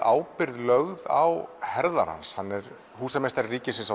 ábyrgð lögð á herðar hans hann er húsameistari ríkisins